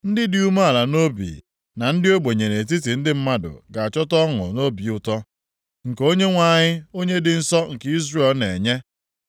Ndị dị umeala nʼobi, na ndị ogbenye nʼetiti ndị mmadụ ga-achọta ọṅụ na obi ụtọ nke Onyenwe anyị Onye dị nsọ nke Izrel na-enye.